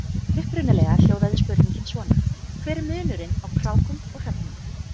Upprunalega hljóðaði spurningin svona: Hver er munurinn á krákum og hröfnum?